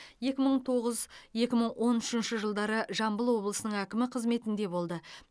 екі мың тоғыз екі мың он үшінші жылдары жамбыл облысының әкімі қызметінде болды